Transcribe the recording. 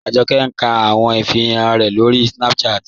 Ajọkẹ̀ n kà àwọn ìfìrànṣẹ̀ rẹ̀ lórí Snapchat.